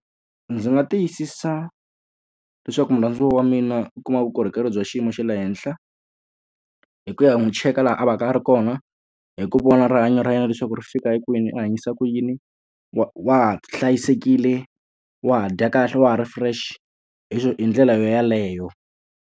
Ndzi nga tiyisisa leswaku murhandziwa wa mina u kuma vukorhokeri bya xiyimo xa le henhla, hi ku ya n'wi cheka laha a va ka a ri kona, hi ku vona rihanyo ra yena leswaku ri fika hi kwini, u hanyisa ku yini, wa wa ha hlayisekile, wa dya kahle, wa ha ri fresh. Hi hi ndlela yona yeleyo.